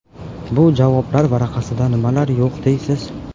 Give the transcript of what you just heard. Bu javoblar varaqasida nimalar yo‘q deysiz.